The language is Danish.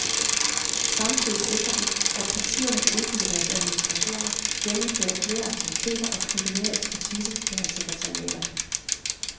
Samtidig sikrer den, at partierne kan udbygge deres administrationer, gennemføre flere aktiviteter og knytte mere ekspertise til deres sekretariater.